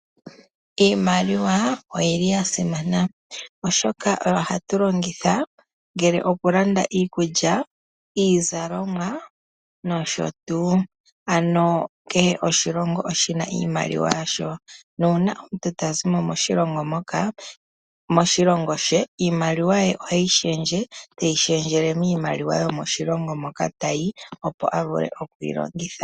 Iimaliwa oyi li ya simana oshoka oyo hatu longitha ngele oku landa iikulya, iizalomwa nosho tuu. Ano kehe oshilongo oshina iimaliwa yasho. Nuuna omuntu ta zimo moshilongo moka moshilongo she iimaliwa ye oheyi shendje teyi shendjele miimaliwa yomoshilongo moka tayi opo a vule okuyi longitha.